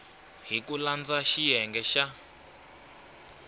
hi ku landza xiyenge xa